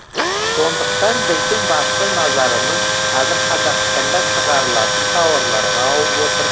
сондықтан біздің басты назарымыз қазір қазақстанда шығарылатын тауарларға ауып отыр